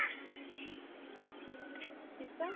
ਕਿਸ ਤਰ੍ਹਾਂ